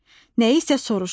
Nəyi isə soruşur.